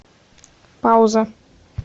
пауза